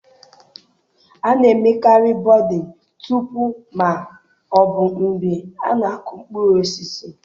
A na-emekarị buding tupu ma ọ bụ mgbe a na-aku mkpụrụ osisi.